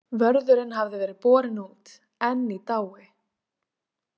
Vörðurinn hafði verið borinn út, enn í dái.